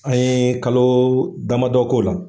An ye kalo damadɔ k'o la.